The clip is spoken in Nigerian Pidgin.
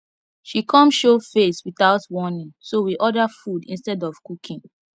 she come show face without warning so we order food instead of cooking